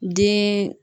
Den